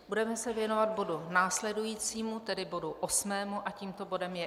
Budeme se věnovat bodu následujícímu, tedy bodu osmému, a tímto bodem je